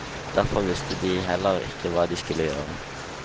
Derfor visste de heller ikke hva de skulle gjøre.